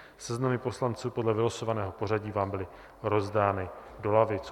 Seznamy poslanců podle vylosovaného pořadí vám byly rozdány do lavic.